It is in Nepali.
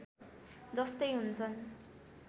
जस्तै हुन्छन्